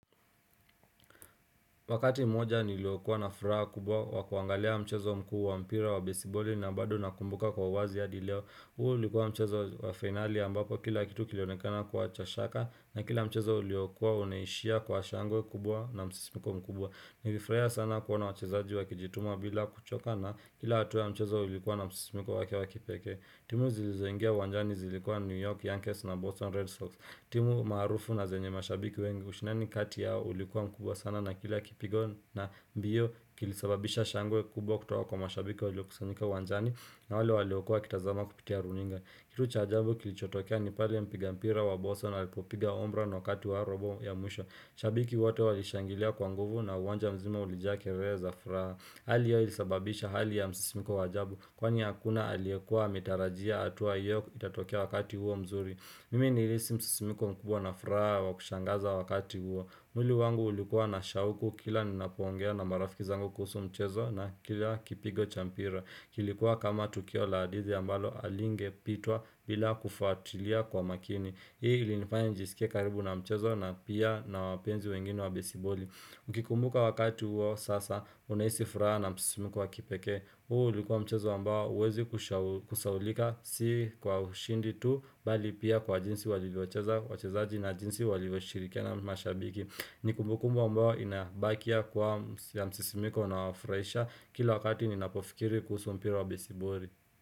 Wakati mmoja niliokuwa na furaha kubwa wa kuangalia mchezo mkuu wa mpira wa besiboli na bado nakumbuka kwa uwazi hadi leo. Huu ulikuwa mchezo wa finali ambapo kila kitu kilionekana kuwa cha shaka na kila mchezo uliokuwa unaishia kwa shangwe kubwa na msisimiko mkubwa. Nilifurahia sana kuona wachezaji wakijituma bila kuchoka na kila hatua ya mchezo ilikuwa na msisimiko wake wa kipeke. Timu zilizoingia uwanjani zilikuwa New York, Youngest na Boston Red Sox. Timu maarufu na zenye mashabiki wengi ushindani kati yao ulikuwa mkubwa sana na kila kipigo na mbio kilisababisha shangwe kubwa kutoka kwa mashabiki wa waliokusanyika uwanjani na wale waliokua wakitazama kupitia runinga. Kitu cha ajabu kilichotokea ni pale mpiga mpira wa boso alipopiga ombra na wakati wa robo ya mwisho. Shabiki woto walishangilia kwa nguvu na uwanja mzima ulijaa kelele za furaha. Hali yao ilisababisha hali ya msisimiko w ajabu kwani hakuna aliekua ametarajia hatua hiyo itatokea wakati huo mzuri. Mimi nilihisi msisimiko mkubwa na furaha wa kushangaza wakati huo. Mwli wangu ulikuwa na shauku kila ninapoongea na marafiki zangu kuhusu mchezo na kila kipigo cha mpira. Kilikuwa kama tukio la hadidhi ambalo halingepitwa bila kufatilia kwa makini. Hii ilinifanya njisikie karibu na mchezo na pia na wapenzi wengine wa besiboli. Ukikumbuka wakati huo sasa unahisi furaha na msisimiku wa kipekee huu ulikuwa mchezo ambao huwezi kusahaulika si kwa ushindi tu Bali pia kwa jinsi walivyocheza na jinsi walivyocheza na mashabiki ni kumbukumbu ambao inabakia kuwa msisimiko na hufurahisha Kila wakati ninapofikiri kuhusu mpira wa besiboli.